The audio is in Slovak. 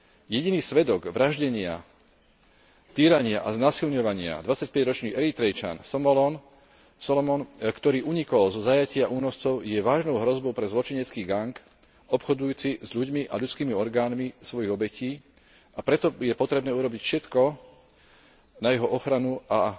Jediný svedok vraždenia, týrania a znásilňovania dvadsaťpäťročný Eritrejčan Solomon, ktorý unikol zo zajatia únoscov, je vážnou hrozbou pre zločinecký gang obchodujúci s ľuďmi a ľudskými orgánmi svojich obetí, a preto je potrebné urobiť všetko na jeho ochranu a